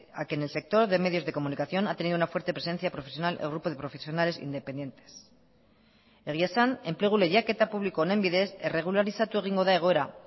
a que en el sector de medios de comunicación ha tenido una fuerte presencia profesional el grupo de profesionales independientes egia esan enplegu lehiaketa publiko honen bidez erregularizatu egingo da egoera